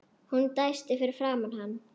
Hún dæsti fyrir framan hann.